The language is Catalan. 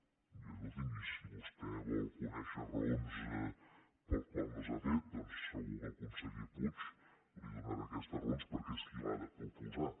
i escolti’m si vostè vol conèixer raons per les quals no s’ha fet doncs segur que el conseller puig li donarà aquestes raons perquè és qui l’ha de proposar